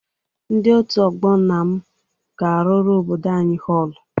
Ndị òtù ọgbọ nna m ga-arụrụ obodo anyị họlụ.